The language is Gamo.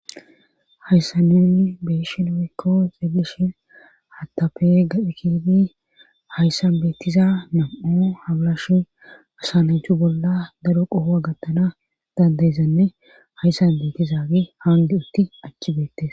Hayssanunni beeshin oykko xelishin hattape gaphikidi hayssan beetiza nam7u habalashu asananchu bolla daro qohoa gattana dandeyesanne hayssan beetizaagi haandi utti achchibeettes.